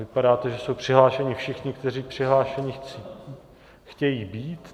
Vypadá to, že jsou přihlášeni všichni, kteří přihlášeni chtějí být.